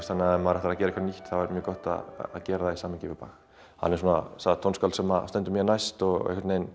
þannig ef maður ætlar að gera eitthvað nýtt þá er samt mjög gott að gera það í samhengi við Bach hann er það tónskáld sem stendur mér næst og ég